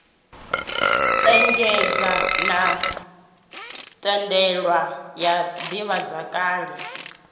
engedzwa na thandela ya ḓivhazwakale